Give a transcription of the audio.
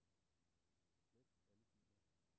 Slet alle filer.